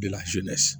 Bila